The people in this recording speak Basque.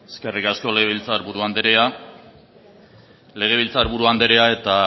eskerrik asko legebiltzar buru andrea legebiltzar buru eta